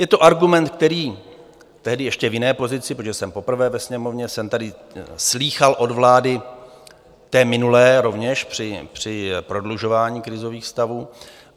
Je to argument, který - tehdy ještě v jiné pozici, protože jsem poprvé ve Sněmovně - jsem tady slýchal od vlády, té minulé, rovněž při prodlužování krizových stavů.